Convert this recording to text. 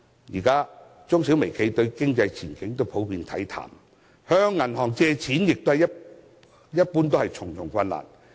現時中小微企對經濟前景普遍看淡，向銀行借錢亦困難重重。